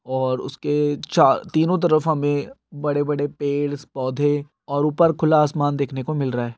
और उसके चा तीनों तरफ हमे बड़े बड़े पेड पौधे और ऊपर खुला आसमान देखने को मिल रहा हे।